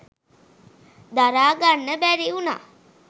දරා ගන්න බැරි වුණා.